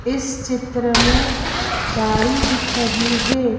इस चित्र में गाड़ी दिख रही है।